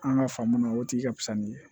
An ka faamuna o tigi ka fisa ni